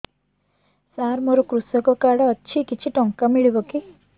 ସାର ମୋର୍ କୃଷକ କାର୍ଡ ଅଛି କିଛି ଟଙ୍କା ମିଳିବ କି